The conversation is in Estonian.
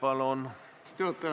Aitäh, austatud juhataja!